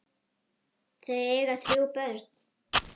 Þau eiga þrjú börn